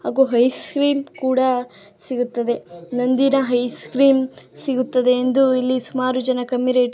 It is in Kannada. ಹಾಗು ಹಿ ಸ್ವೀಟ್ ಕೂಡ ಸಿಗುತ್ತದೆ. ನಂದಿನಿ ಐಸ್ಕ್ರೀಂ ಸಿಗುತ್ತದೆ ಎಂದು ಇಲ್ಲಿ ಸುಮಾರು ಜನಾ ಕಮ್ಮಿ ರೇಟ್ --